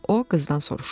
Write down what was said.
O qızdan soruşurdu.